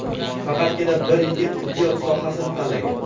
Faqatgina bir yigit tibbiyot sohasini tanlagan.